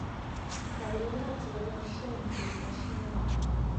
àwòrán láti ọwọ shaun jusaxinhua